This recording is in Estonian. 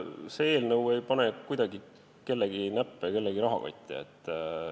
See eelnõu ei pane kuidagi kellegi näppe kellegi rahakotti.